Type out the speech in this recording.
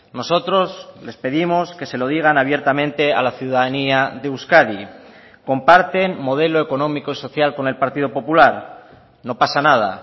nosotros les pedimos que se lo digan abiertamente a la ciudadanía de euskadi comparten modelo económico y social con el partido popular no pasa nada